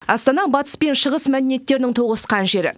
астана батыс пен шығыс мәдениеттерінің тоғысқан жері